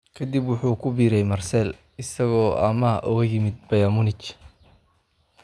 Kadib wuxuu ku biiray Marseille, isagoo amaah uga yimid Bayern Munich.